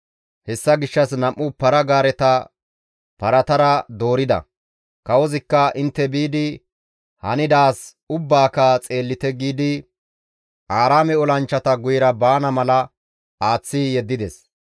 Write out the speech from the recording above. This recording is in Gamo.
Hessa gishshas nam7u para-gaareta paratara doorida; kawozikka «Intte biidi hanidaaz ubbaaka xeellite» giidi Aaraame olanchchata guyera baana mala aaththi yeddides.